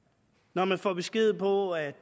når man får besked på at